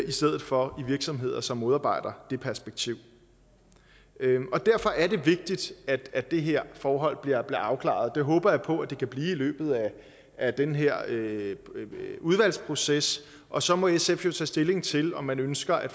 i stedet for i virksomheder som modarbejder det perspektiv derfor er det vigtigt at de her forhold bliver afklaret og det håber jeg på at de kan blive i løbet af den her udvalgsproces og så må sf jo tage stilling til om man ønsker at